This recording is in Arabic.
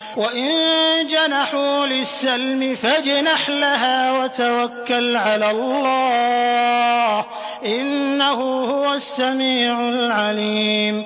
۞ وَإِن جَنَحُوا لِلسَّلْمِ فَاجْنَحْ لَهَا وَتَوَكَّلْ عَلَى اللَّهِ ۚ إِنَّهُ هُوَ السَّمِيعُ الْعَلِيمُ